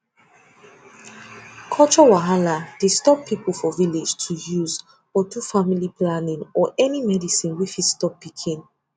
culture wahala dey stop people for village to use or do family planning or any medicine wey fit stop pikin